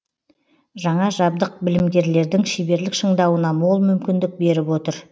жаңа жабдық білімгерлердің шеберлік шыңдауына мол мүмкіндік беріп отыр